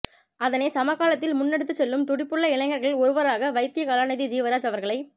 அதனை சமகாலத்தில் முன்னெடுத்துச் செல்லும் துடிப்புள்ள இளைஞர்களில் ஒருவராக வைத்திய கலாநிதி ஜீவராஜ் அவர்களைப்